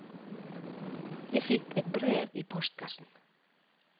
Jeg fikk et brev i postkassen.